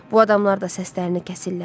Bu adamlar da səslərini kəsirlər.